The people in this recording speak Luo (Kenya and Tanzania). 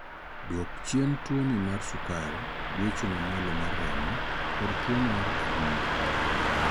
Duok chien tuoni mar sukar, gwecho mamalo mar remo, kod tuo adundo.